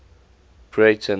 breyten